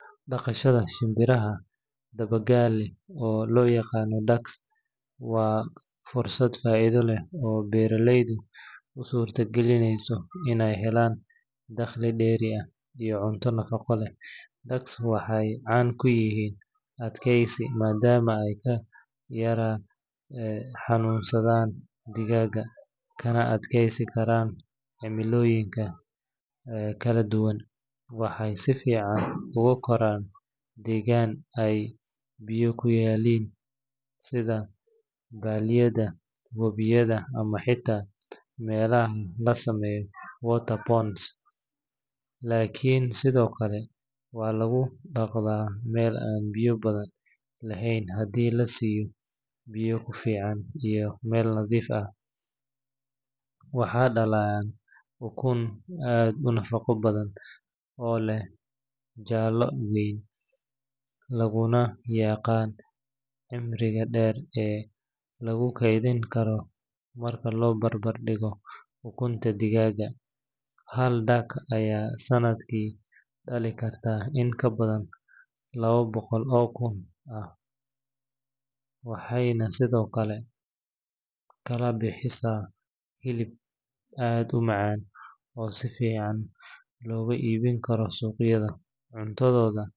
Dhaqashada shinbiraha dabagaale, oo loo yaqaan ducks, waa fursad faa’iido leh oo beeraleyda u suurtagelinaysa inay helaan dakhli dheeri ah iyo cunto nafaqo leh. Ducks waxay caan ku yihiin adkaysi, maadaama ay ka yara xanuunsadaan digaagga, kana adkaysan karaan cimilooyinka kala duwan. Waxay si fiican ugu koraan deegaan ay biyo ku yaalliin sida balliyada, webiyada ama xitaa meelaha la sameeyo water ponds, laakiin sidoo kale waa lagu dhaqdaa meel aan biyo badan lahayn haddii la siiyo biyo ku filan iyo meel nadiif ah. Waxay dhalayaan ukun aad u nafaqo badan, oo leh jaallo weyn, laguna yaqaan cimriga dheer ee lagu keydin karo marka loo barbardhigo ukunta digaagga. Hal duck ayaa sanadkii dhali karta in ka badan laba boqol oo ukun ah, waxayna sidoo kale bixisaa hilib aad u macaan oo si fiican looga iibin karo suuqyada.